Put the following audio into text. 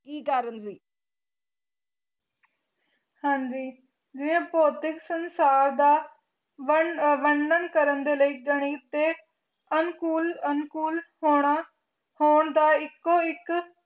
ਹਾਜੀ ਭੋਤਿਕ ਸੰਸਾਰ ਦਾ ਵਰਣਨ ਕਰਨ ਦੇ ਲਈ ਗਣਿਤ ਦੇ ਅਨੁਕੂਲ ਹੋਣਾ ਦਾ ਇਕੋ ਇੱਕ